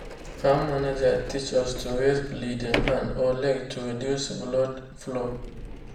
farm manager teach us to raise bleeding hand or leg to reduce blood flow.